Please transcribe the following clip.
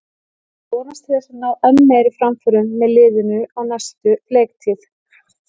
Ég vonast til þess að ná enn meiri framförum með liðinu á næstu leiktíð.